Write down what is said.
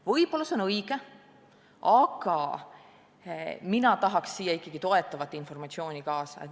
Võib-olla on see õige, aga mina tahaks siia ikkagi toetavat informatsiooni lisaks.